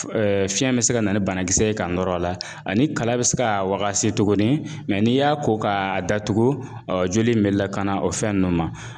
Fiɲɛ bɛ se ka na ni banakisɛ ye k'a nɔr'a la ani kala bɛ se k'a wagasi tuguni n'i y'a ko k'a datugu joli in bɛ lakana o fɛn nun ma.